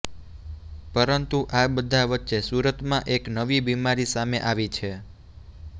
પરંતુ આ બધા વચ્ચે સુરતમાં એક નવી બીમારી સામે આવી છે